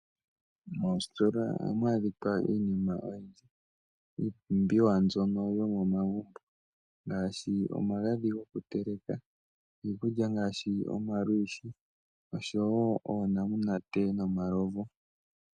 Moositola ohamu adhika iinima oyindji iipumbiwa mbyono yo momagumbo ngaasji omagadhi gokuteleka, iikulya ngaashi omalushi oshowo oonamunate nomalovu.